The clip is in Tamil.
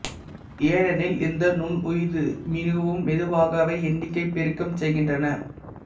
ஏனெனில் இந்த நுண்ணுயிரி மிகவும் மெதுவாகவே எண்ணிக்கைப் பெருக்கம் செய்கின்றன